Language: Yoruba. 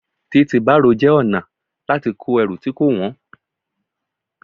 Títi bárò jẹ́ ọ̀nà láti kó ẹrù tí kò wọ̀n.